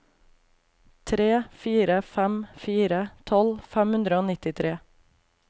tre fire fem fire tolv fem hundre og nittitre